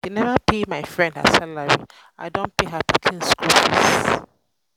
dem neva pay my friend her salary i don pay her pikin skool fees.